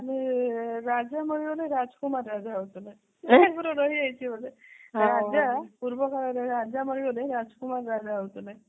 ରାଜା ମରିଗଲେ ରାଜ କୁମାର ରାଜା ହୋଉଥିଲେ ଆଗରୁ ରହି ଯାଇଛି ଗୋଟେ ରାଜା ପୂର୍ବ କାଳରେ ରାଜା ମରିଗଲେ ରାଜ କୁମାର ରାଜା ହୋଉଥିଲେ